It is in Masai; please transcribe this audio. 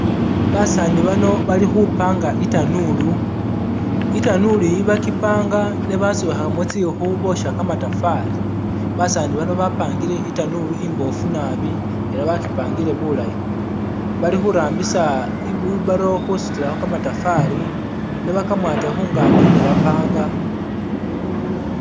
Basaani bano bali khu panga itanuulu. Itanuulu eyi bakipanga ne basobekhamo tsikhu bosha kamatafari basani bano bapangile itanuulu imboofu naabi era bakyipangile bulayi bali khu rambisa i wheelbarrow khusutilakho kamatafari no bakamwate khungaki ne ba panga